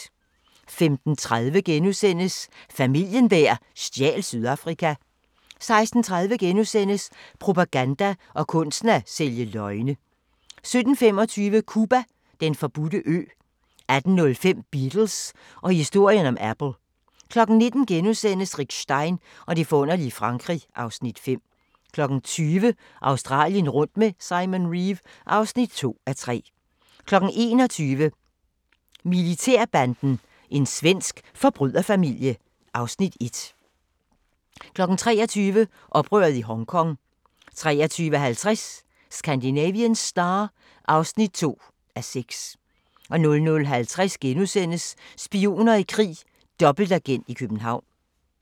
15:30: Familien der stjal Sydafrika * 16:30: Propaganda og kunsten at sælge løgne * 17:25: Cuba: Den forbudte ø 18:05: Beatles og historien om Apple 19:00: Rick Stein og det forunderlige Frankrig (Afs. 5)* 20:00: Australien rundt med Simon Reeve (2:3) 21:00: Militærbanden – en svensk forbryderfamilie (Afs. 1) 23:00: Oprøret i Hongkong 23:50: Scandinavian Star (2:6) 00:50: Spioner i krig: Dobbeltagent i København *